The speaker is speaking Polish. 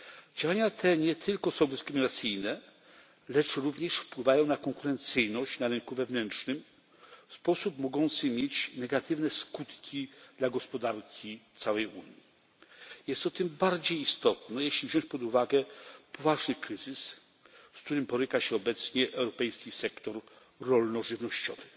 Działania te nie tylko są dyskryminacyjne, lecz również wpływają na konkurencyjność na rynku wewnętrznym w sposób mogący mieć negatywne skutki dla gospodarki całej Unii. Jest to tym bardziej istotne, jeśli weźmie się pod uwagę poważny kryzys, z którym boryka się obecnie europejski sektor rolno żywnościowy,